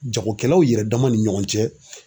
Jakokɛlaw yɛrɛ dama ni ɲɔgɔn cɛ